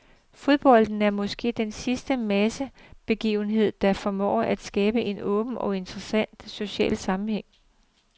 Fodbolden er måske den sidste massebegivenhed, der formår at skabe en åben og intens social sammenhæng.